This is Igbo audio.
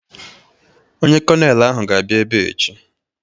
Onye kọnelụ ga-abịa ebe a echi.